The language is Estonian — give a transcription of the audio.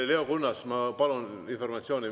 Leo Kunnas, ma palun informatsiooni.